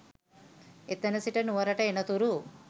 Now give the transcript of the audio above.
එතැන සිට නුවරට එනතුරු